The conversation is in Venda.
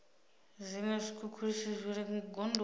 zwiṅwe zwikhukhulisi zwi re gondoni